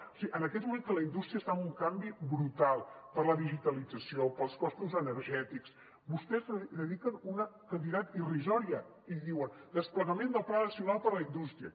o sigui en aquests moments que la indústria està en un canvi brutal per la digitalització pels costos energètics vostès hi dediquen una quantitat irrisòria i diuen desplegament del pla nacional per a la indústria